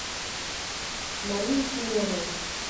марию семенову